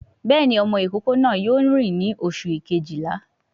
Béèni ọmọ ìkókó náà yóò ní oṣù Kejìlá